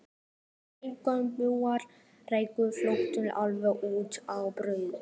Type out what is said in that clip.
Brekkubúar ráku flóttann alveg út á brú.